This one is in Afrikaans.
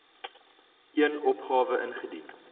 een opgawe ingedien